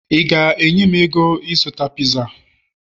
ị ga-enye m ego ịzụta pizza?